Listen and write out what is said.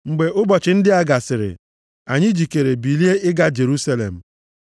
Mgbe ụbọchị ndị a gasịrị, anyị jikere bilie ịga Jerusalem.